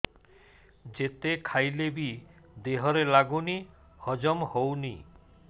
ଯେତେ ଖାଇଲେ ବି ଦେହରେ ଲାଗୁନି ହଜମ ହଉନି